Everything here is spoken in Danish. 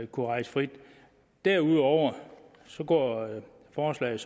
kunne rejse frit ind derudover går forslaget